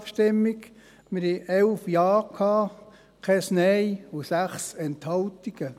Wir hatten 11 Ja-, 0 Nein-Stimmen und 6 Enthaltungen.